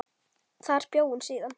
Þar bjó hún síðan.